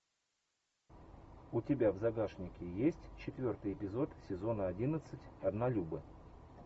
у тебя в загашнике есть четвертый эпизод сезона одиннадцать однолюбы